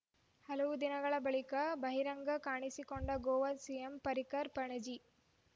ಹಲವು ದಿನಗಳ ಬಳಿಕ ಬಹಿರಂಗ ಕಾಣಿಸಿಕೊಂಡ ಗೋವಾ ಸಿಎಂ ಪರ್ರಿಕರ್‌ ಪಣಜಿ